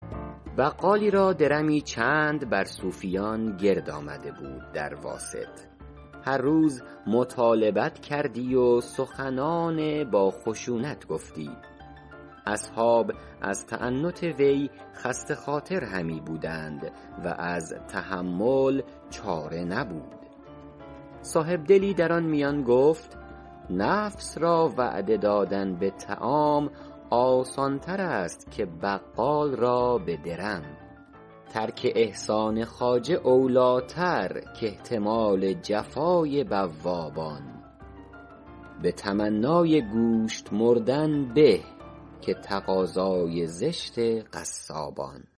بقالی را درمی چند بر صوفیان گرد آمده بود در واسط هر روز مطالبت کردی و سخنان با خشونت گفتی اصحاب از تعنت وی خسته خاطر همی بودند و از تحمل چاره نبود صاحبدلی در آن میان گفت نفس را وعده دادن به طعام آسان تر است که بقال را به درم ترک احسان خواجه اولی ٰتر کاحتمال جفای بوابان به تمنای گوشت مردن به که تقاضای زشت قصابان